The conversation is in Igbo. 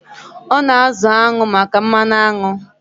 Ọ na-azụ añụ maka mmanụ aṅụ.